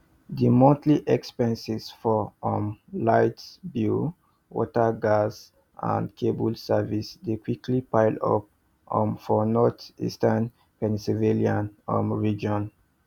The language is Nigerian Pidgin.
di monthly expenses for um light bill water gas and cable services dey quick pile up um for northeastern pennsylvania um region